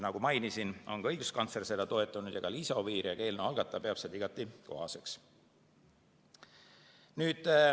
Nagu mainisin, on ka õiguskantsler seda toetanud, samuti Liisa Oviir ja ka eelnõu algataja peavad seda igati kohaseks.